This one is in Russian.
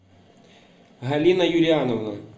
галина юлиановна